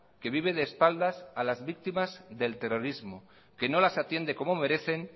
que vive de espaldas a las víctimas del terrorismo que no las atiende como merecen